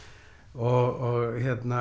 og